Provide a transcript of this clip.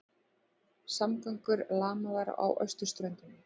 Samgöngur lamaðar á austurströndinni